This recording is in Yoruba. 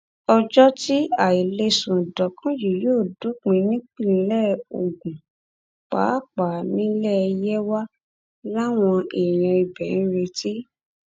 ọjọ tí àì lè sùn dọkàn yìí yóò dópin nípìnlẹ ogun pàápàá nílẹ yewa làwọn èèyàn ibẹ ń retí